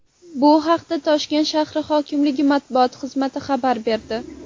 Bu haqda Toshkent shahri hokimligi matbuot xizmati xabar berdi .